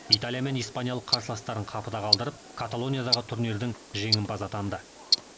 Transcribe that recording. италия мен испаниялық қарсыластарын қапыда қалдырып каталониядағы турнирдің жеңімпазы атанды